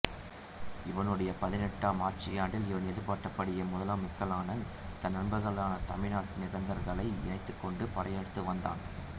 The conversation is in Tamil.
இவனுடைய பதினெட்டாம் ஆட்சியாண்டில் இவன் எதிர்பார்த்தபடியே முதலாம் மொக்கல்லானன் தன் நண்பர்களான தமிழ்நாட்டு நிகந்தர்களை இணைத்துக் கொண்டு படையெடுத்து வந்தான்